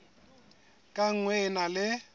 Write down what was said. ka nngwe e na le